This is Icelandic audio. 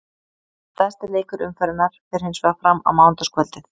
Stærsti leikur umferðarinnar fer hinsvegar fram á mánudagskvöldið.